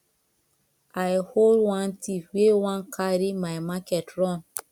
i hold wan thief wey wan carry my market run